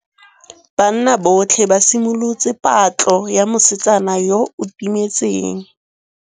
Banna botlhê ba simolotse patlô ya mosetsana yo o timetseng.